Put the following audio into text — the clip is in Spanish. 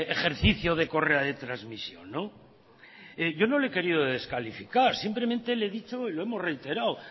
ejercicio de correa de transmisión yo no lo he querido descalificar simplemente le he dicho lo hemos reiterado